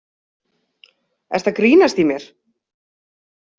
Ertu að grínast í mér?